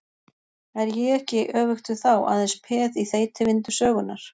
Er ég ekki, öfugt við þá, aðeins peð í þeytivindu sögunnar?